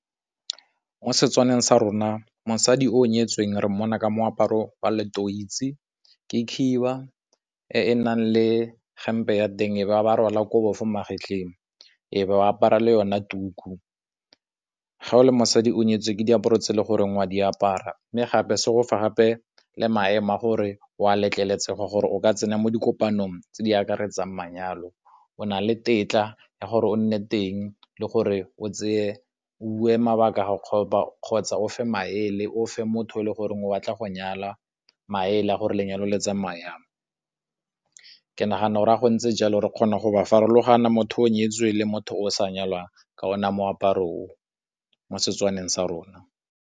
Mo Setswaneng sa rona, mosadi o nyetsweng re mmona ka moaparo wa letoisi, ke khiba e e nang le hempe ya teng e ba rwala kobo fo magetleng, e ba apara le yona tuku. Ga o le mosadi o nyetswe ke diaparo tse e le goreng o a di apara, mme gape se go fa gape le maemo a gore o a letlelesega gore o ka tsena mo dikopanong tse di akaretsang manyalo. O na le tetla ya gore o nne teng le gore o bue mabaka a gago kgotsa o fe maele o fe motho o e le goreng o batla go nyala maele a gore lenyalo le tsamayang jang. Ke nagana gore fa go ntse jalo re kgona go ba farologana motho o nyetswe le motho o sa nyalwang ka ona moaparo o, mo Setswaneng sa rona.